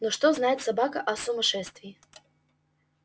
но что знает собака о сумасшествии